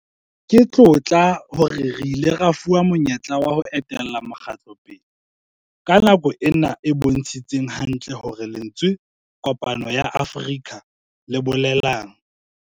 Ke tlotla hore re ile ra fuwa monyetla wa ho etella mokgatlo pele ka nako ena e bontshitseng hantle hore lentswe 'Kopano ya Afrika' le bolelang.